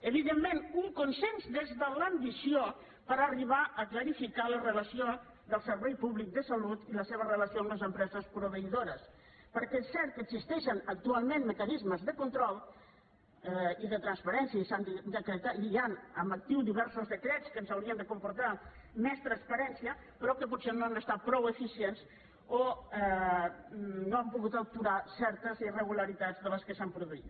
evidentment un consens des de l’ambició per arribar a clarificar la relació del servei públic de salut i la seva relació amb les empreses proveïdores perquè és cert que existeixen actualment mecanismes de control i de transparència i hi han en actiu diversos decrets que ens haurien de comportar més transparència però que potser no han estat prou eficients o no han pogut aturar certes irregularitats de les que s’han produït